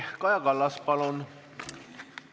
Kaja Kallas, palun!